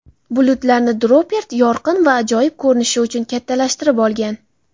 Bulutlarni Dropert yorqin va ajoyib ko‘rinishi uchun kattalashtirib olgan.